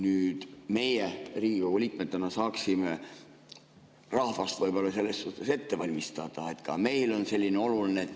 Nüüd, meie Riigikogu liikmetena saaksime rahvast selles suhtes ette valmistada, ka meile on see oluline.